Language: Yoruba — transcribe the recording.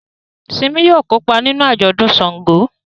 Simi yóò kópa nínú ajọdun ṣàngó